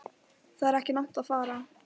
Það er ekki langt að fara.